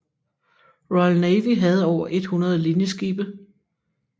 Royal Navy havde over 100 linjeskibe